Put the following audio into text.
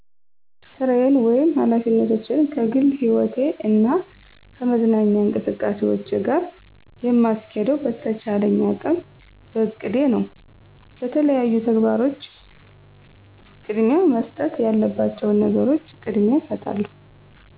ሥራየን ወይም ኃላፊነቶቸን ከግል ሕይወቴ እና ከመዝናኛ እንቅስቃሴዎቸ ጋር የምስኬደው በቸቻለኝ አቅም በእቅደ ነው። ለተለያዩ ተግባሮቸን ቅደሚያ መሰጠት ያለባቸዉን ነገሮች ቅደሚያ እስጣለሁ።